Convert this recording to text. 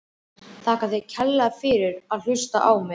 Þakka þér kærlega fyrir að hlusta á mig!